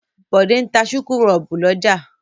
Bọ̀dé ń ta súkúrọ́bù lọ́jà.